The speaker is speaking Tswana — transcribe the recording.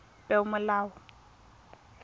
peomolao